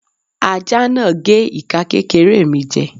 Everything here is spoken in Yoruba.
Aja náà gé ika kékéré mi jè